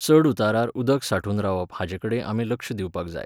चडउतारार उदक सांठून रावप हाजेकडेन आमी लक्ष दिवपाक जाय